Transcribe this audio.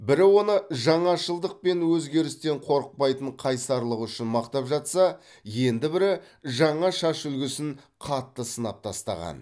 бірі оны жаңашылдық пен өзгерістен қорықпайтын қайсарлығы үшін мақтап жатса енді бірі жаңа шаш үлгісін қатты сынап тастаған